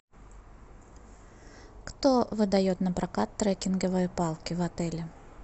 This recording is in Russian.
кто выдает на прокат трекинговые палки в отеле